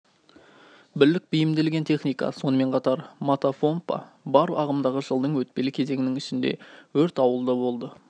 бірлік бейімделген техника сонымен қатар мотопомпа бар ағымдағы жылдың өтпелі кезеңінің ішінде өрт ауылда болды